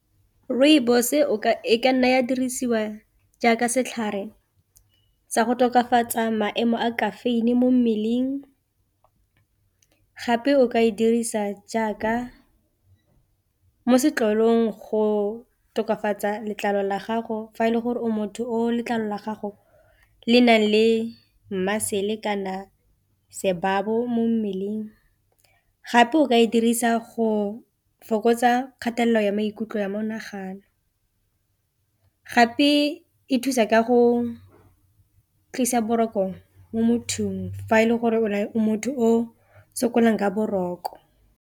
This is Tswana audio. Rooibos-e e ka nna ya dirisiwa jaaka setlhare sa go tokafatsa maemo a caffeine mo mmeleng gape o ka e dirisa jaaka mo setlolong go tokafatsa letlalo la gago fa e le gore o motho o letlalo la gago le nang le muscle kana sebabo mo mmeleng, gape o ka e dirisa go o fokotsa kgatelelo ya maikutlo ya monagano, gape e thusa ka go tlisa boroko mo mothong fa e le gore o motho o sokolang ka boroko.